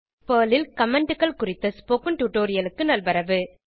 Perl ல் Commentகள் குறித்த ஸ்போகன் டுடோரியலிக்கு நல்வரவு